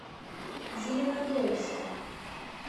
зеленодольском